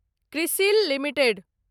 CRISIL limited